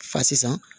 Fa sisan